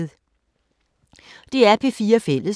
DR P4 Fælles